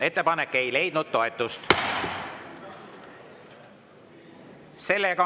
Ettepanek ei leidnud toetust.